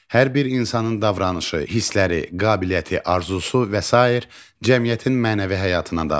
Hər bir insanın davranışı, hissləri, qabiliyyəti, arzusu və sair cəmiyyətin mənəvi həyatına daxildir.